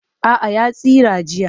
A'a ya tsira jiya